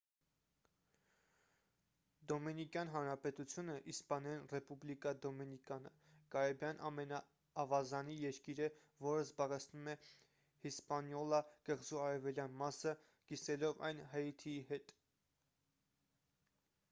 դոմինիկյան հանրապետությունը իսպաներեն` ռեպուբլիկա դոմինիկանա կարիբյան ավազանի երկիր է որը զբաղեցնում է հիսպանիոլա կղզու արևելյան մասը` կիսելով այն հայիթիի հետ: